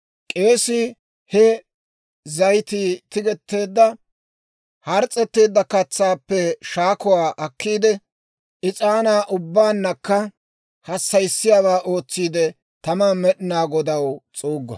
K'eesii he zayitii tigetteedda hars's'eteedda katsaappe shakkuwaa akkiide, is'aanaa ubbaannakka hassayissiyaawaa ootsiide taman Med'inaa Godaw s'uuggo.